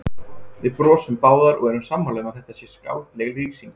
Við brosum báðar og erum sammála um að þetta sé skáldleg lýsing.